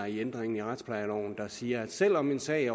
i ændringen af retsplejeloven der siger at selv om en sag